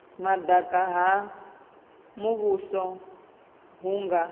madaka ha muvhuso hu nga